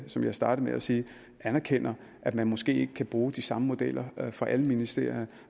som jeg startede med at sige anerkender at man måske ikke kan bruge de samme modeller for alle ministerier